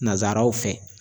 Nanzaraw fɛ